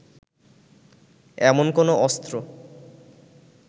এমন কোনও অস্ত্র